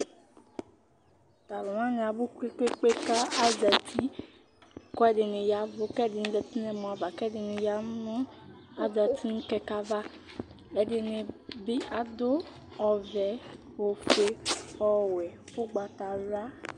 Talʋ wani abʋ kpe kpe kpe kʋ azati, kʋ ɛdini ya ɛvʋ, kʋ ɛdini zati nʋ ɛmɔava, kʋ ɛdini azati nʋ kɛkɛ ava Ɛdini ji adʋ ɔvɛ, ofue, ɔwɛ, ʋgbatawla